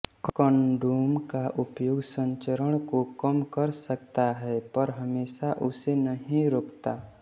condom का उपयोग संचरण को कम कर सकता है पर हमेशा उसे नहीं रोकता